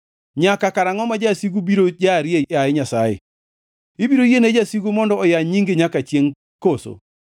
Nyaka karangʼo ma jasigu biro jarie, yaye Nyasaye? Ibiro yiene jasigu mondo oyany nyingi nyaka chiengʼ koso?